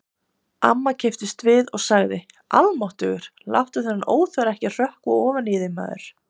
Amma kipptist við og sagði: Almáttugur, láttu þennan óþverra ekki hrökkva ofan í þig, maður